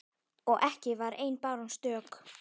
Og ekki var ein báran stök.